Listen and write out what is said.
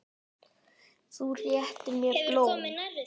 Þú réttir mér blóm.